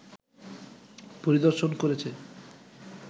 পরিদর্শন করেছে